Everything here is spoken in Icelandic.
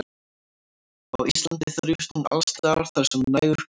Á Íslandi þrífst hún alls staðar þar sem nægur gróður er.